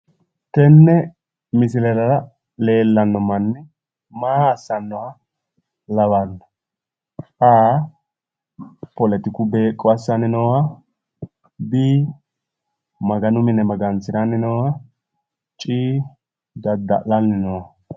Tene misilera leellano manni maa assanoha lawano ? A,poletiku beeqqo assani nooha B,Maganu mine Magansiranni nooha C,Daddallanni nooha